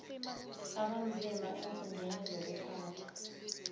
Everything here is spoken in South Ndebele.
abanzima eenkhundleni zokuphatha